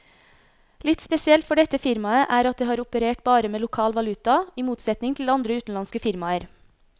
Litt spesielt for dette firmaet er at det har operert bare med lokal valuta, i motsetning til andre utenlandske firmaer.